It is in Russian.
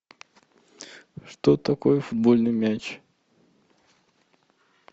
что такое футбольный мяч